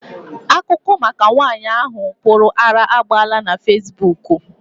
Akụkọ maka nwaanyị ahụ pụrụ ara agbaala na fesibuuku.